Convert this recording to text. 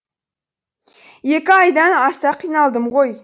екі айдан аса қиналдым ғой